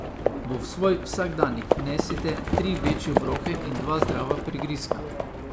V svoj vsakdanjik vnesite tri večje obroke in dva zdrava prigrizka.